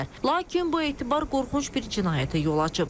Lakin bu etibar qorxunc bir cinayətə yol açıb.